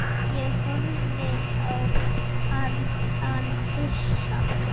Ég horfði á hann hissa.